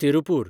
Tiruppur